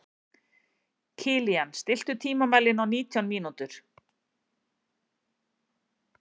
Kilían, stilltu tímamælinn á nítján mínútur.